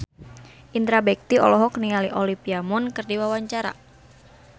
Indra Bekti olohok ningali Olivia Munn keur diwawancara